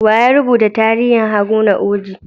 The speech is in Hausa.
Wa ya rubuta tarihin Haruna Oji?